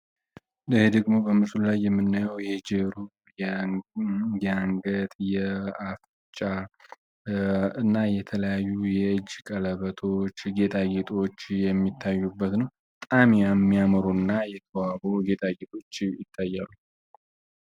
ይህ ደግሞ በምስሉ ላይ የምናየው የጀሮ ፣የአንገት፣ የአፍንጫ እና የተለያዩ ቀለበጦች ጌጣጌጦች የሚታዩበት ነው። በጣም የሚያምሩ እና የተዋቡ የጌጣጌጦች እንመለከታለን።